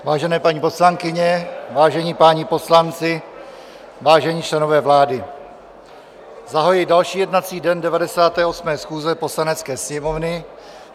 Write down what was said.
Vážené paní poslankyně, vážení páni poslanci, vážení členové vlády, zahajuji další jednací den 98. schůze Poslanecké sněmovny.